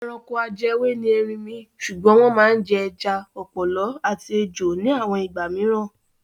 Ẹranko ajẹwé ni erinmi ṣùgbọ́n wọ́n máa ń jẹ ẹja, ọ̀pọ̀lọ́ àti ejò ní àwọn ìgbà mìíràn.